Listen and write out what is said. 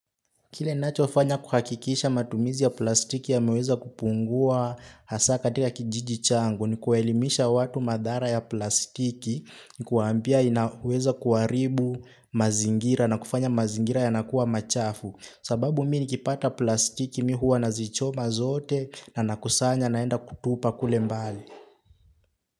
Kile ninachofanya kuhakikisha matumizi ya plastiki yameweza kupungua hasa katika kijiji changu ni kuelimisha watu madhara ya plastiki ni kuambia inaweza kuharibu mazingira na kufanya mazingira yanakuwa machafu. Sababu miinikipata plastiki mi huwa nazichoma zote na nakusanya naenda kutupa kule mbali.